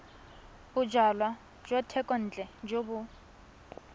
bojalwa jwa thekontle jo bo